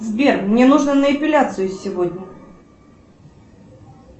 сбер мне нужно на эпиляцию сегодня